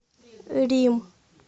рим